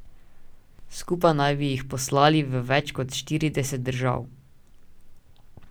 Skupaj naj bi jih poslali v več kot štirideset držav.